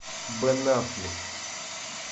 бен аффлек